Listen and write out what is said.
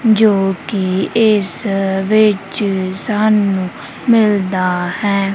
ਜੋ ਕਿ ਇਸ ਵਿੱਚ ਸਾਨੂੰ ਮਿਲਦਾ ਹੈ।